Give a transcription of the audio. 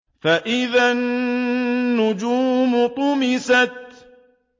فَإِذَا النُّجُومُ طُمِسَتْ